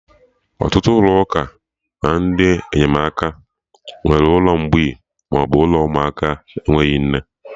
Ọtụtụ ụlọ ụka na ndị enyemaka nwere ụlọ mgbei maọbụ ụlọ ụmụaka enweghị nne